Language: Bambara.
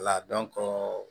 Wala dɔnko